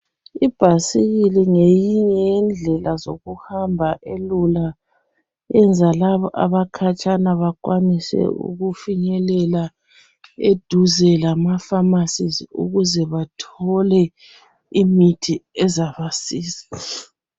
Ibhasikili ngeyinye yendlela zokuhamba elula. Yenza labo abakhatshana bakwanise ukufinyelela eduze lamapharmacies ukuze bathole imithi ezabasiza.